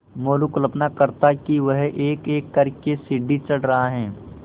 मोरू कल्पना करता कि वह एकएक कर के सीढ़ी चढ़ रहा है